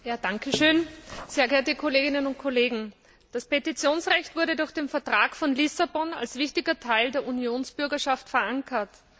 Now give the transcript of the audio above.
Herr Präsident, sehr geehrte Kolleginnen und Kollegen! Das Petitionsrecht wurde durch den Vertrag von Lissabon als wichtiger Teil der Unionsbürgerschaft verankert.